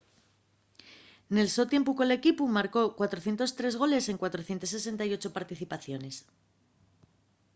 nel so tiempu col equipu marcó 403 goles en 468 participaciones